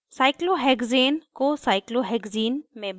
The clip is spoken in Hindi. cyclohexane cyclohexane को cyclohexane cyclohexene में बदलना